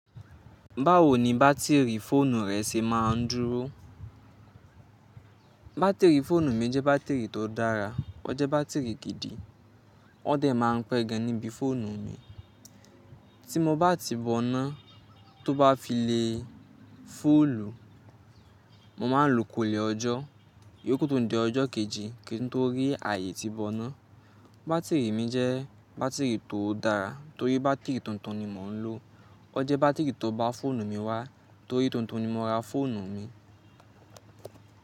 Báwo ni bátìrì fóònù rẹ ṣe máa ń dúró? Bátìrì fóònù mi jẹ́ bátìrì tó dára. O jẹ́ bátìrì gidi. O dẹ̀ máa ń pé gan níbi fóònù mi. Tí mo bá ti boná tó bá fi le fúùlù, mo máa lò kò lè ọjọ́. Iyo ku tun di ọjọ́ kejì kí n tó rí ààyè ti boná. Bátìrì mi jẹ́ bátìrì tó dára torí bátìrì tuntun ni mò ń lò. O jẹ́ bátìrì tó bá fóònù mi wá torí tuntun ni mo ra fóònù mi.